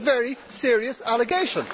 It is a very serious allegation.